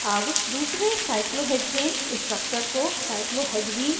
अब दूसरे cyclohexane cyclohexane structure को cyclohexene cyclohexane में बदलें